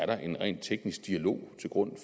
der en ren teknisk dialog til grund